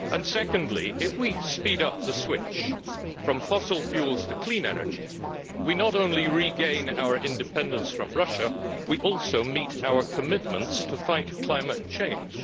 Secondly if we speed up the switch from fossil fuels to clean energy, we not only regain our independence from Russia, we also meet our commitments to fight climate change.